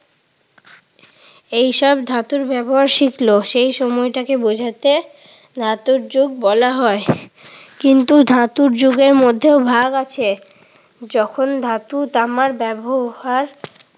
এইসব ধাতুর ব্যবহার শিখল। সেই সময়টাকে বুঝাতে ধাতুর যুগ বলা হয়। কিন্তু ধাতুর যুগের মধ্যেও ভাগ আছে। যখন ধাতু তামার ব্যবহার